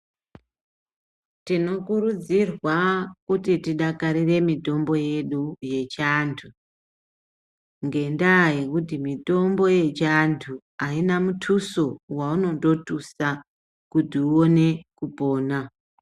Tinokurudzorwa kuti tidakarire mitombo yedu yechiantu, ngendaa yekuti mitombo yechianthu aina mituso waunondotusa kuti uone kupona.